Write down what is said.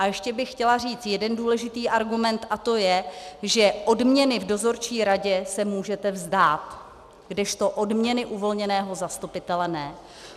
A ještě bych chtěla říct jeden důležitý argument, a to je, že odměny v dozorčí radě se můžete vzdát, kdežto odměny uvolněného zastupitele ne.